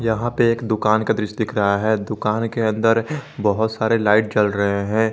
यहां पे एक दुकान का दृश्य दिख रहा है दुकान के अंदर बहोत सारे लाइट जल रहे हैं।